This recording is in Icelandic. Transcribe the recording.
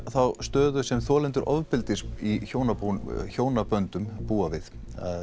þá stöðu sem þolendur ofbeldis í hjónaböndum hjónaböndum búa við